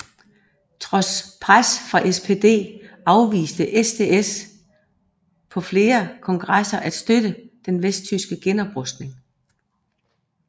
Trods pres fra SPD afviste SDS på flere kongresser at støtte den vesttyske genoprustning